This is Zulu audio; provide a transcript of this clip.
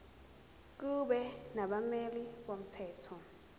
kube nabameli bomthetho